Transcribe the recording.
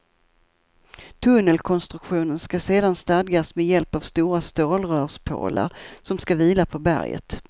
Tunnelkonstruktionen ska sedan stadgas med hjälp av stora stålrörspålar som ska vila på berget.